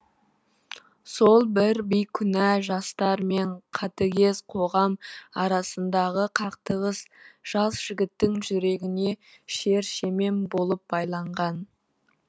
сол бір бейкүнә жастар мен қатыгез қоғам арасындағы қақтығыс жас жігіттің жүрегіне шер шемен болып байланған